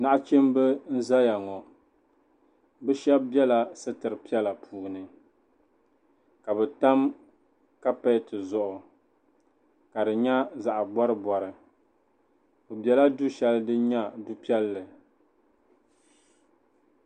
Nachimba n-zaya ŋɔ bɛ shɛba bela sitiri piɛla puuni ka bɛ tam kapeti zuɣu ka di nyɛ zaɣ'bɔribɔri bɛ bela du shɛli din nyɛ du'piɛlli ni.